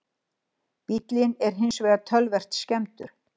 Bíllinn er hins vegar töluvert skemmdur